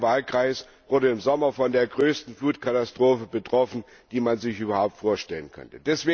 Mein Wahlkreis wurde im Sommer von der größten Flutkatastrophe betroffen, die man sich überhaupt vorstellen konnte.